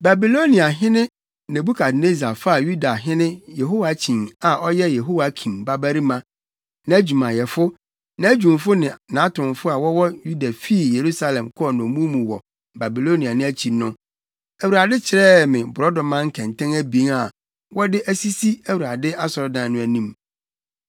Babiloniahene Nebukadnessar faa Yudahene Yehoiakyin a ɔyɛ Yehoiakim babarima, nʼadwumayɛfo, nʼadwumfo ne nʼatomfo a wɔwɔ Yuda fii Yerusalem kɔɔ nnommum mu wɔ Babilonia no akyi no, Awurade kyerɛɛ me borɔdɔma nkɛntɛn abien a wɔde asisi Awurade asɔredan no anim.